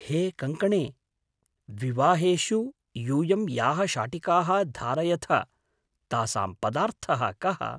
हे कङ्कणे! विवाहेषु यूयं याः शाटिकाः धारयथ तासां पदार्थः कः ?